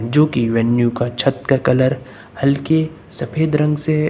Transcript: जो कि मैन्यू का छत का कलर हल्के सफेद रंग से--